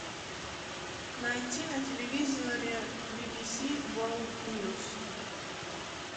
найти на телевизоре би би си ворлд ньюс